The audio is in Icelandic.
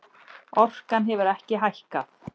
Orkan hefur ekki hækkað